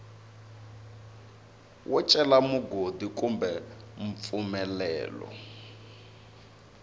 wo cela mugodi kumbe mpfumelelo